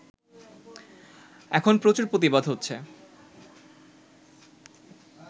এখন প্রচুর প্রতিবাদ হচ্ছে